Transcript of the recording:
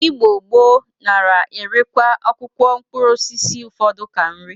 Igbo gboo nara erikwa akwụkwọ mkpụrụosisi ụfọdụ ka nri